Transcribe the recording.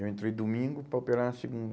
Eu entrei domingo para operar na segunda.